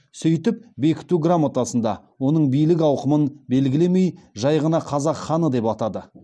сөйтіп бекіту грамотасында оның билік ауқымын белгілемей жай ғана қазақ ханы деп атады